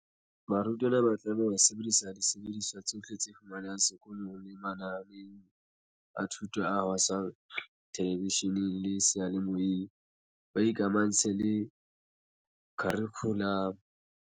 Barutwana ba tlameha ho sebedisa disebediswa tsohle tse fumanehang seko long le mananeong a thuto a haswang thelevishe neng le seyalemoyeng, ba ikamahantse le kharikhu lamo.